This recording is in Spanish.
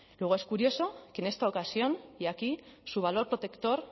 luego es curioso que en esta ocasión y aquí su valor protector